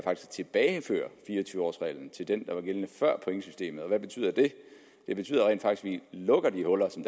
tilbageføre fire og tyve års reglen til det der var gældende før pointsystemet hvad betyder det det betyder rent faktisk at vi lukker de huller som